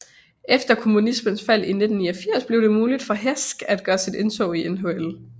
Efter kommunismens fald i 1989 blev det muligt for Hašek at gøre sit indtog i NHL